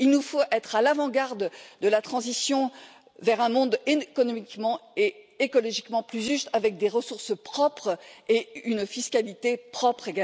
Il nous faut être à l'avant garde de la transition vers un monde économiquement et écologiquement plus juste avec des ressources propres et une fiscalité propre.